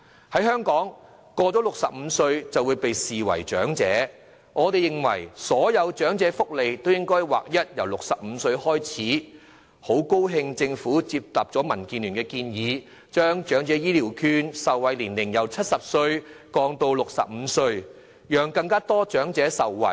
在香港，超過65歲便會被視為長者，我們認為所有長者福利應劃一由65歲開始，也很高興政府接納民主建港協進聯盟的建議，將長者醫療券的受惠年齡由70歲降至65歲，讓更多長者受惠。